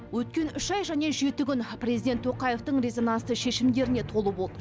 өткен үш ай және жеті күн президент тоқаевтың резонансты шешімдеріне толы болды